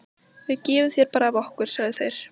Við gefum þér bara af okkar, sögðu þeir.